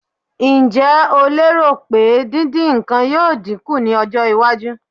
Ǹjẹ́ o lérò pé dídín nǹkan yóò dín kù ní ọjọ́-iwájú?